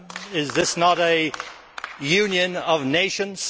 Is this not a Union of nations?